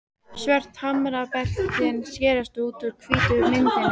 Svört hamrabeltin skerast út úr hvítri myndinni.